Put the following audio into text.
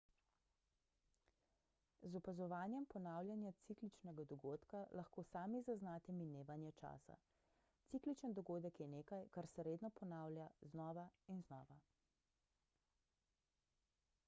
z opazovanjem ponavljanja cikličnega dogodka lahko sami zaznate minevanje časa cikličen dogodek je nekaj kar se redno ponavlja znova in znova